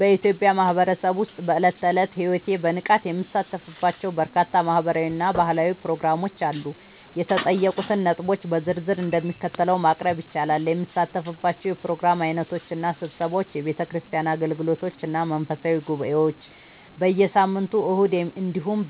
በኢትዮጵያ ማህበረሰብ ውስጥ በዕለት ተዕለት ሕይወቴ በንቃት የምሳተፍባቸው በርካታ ማህበራዊ እና ባህላዊ ፕሮግራሞች አሉ። የተጠየቁትን ነጥቦች በዝርዝር እንደሚከተለው ማቅረብ ይቻላል፦ የምሳተፍባቸው የፕሮግራም ዓይነቶች እና ስብሰባዎች፦ የቤተክርስቲያን አገልግሎቶች እና መንፈሳዊ ጉባኤዎች፦ በየሳምንቱ እሁድ እንዲሁም